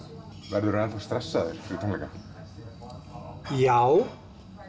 verðurðu enn stressaður fyrir tónleika já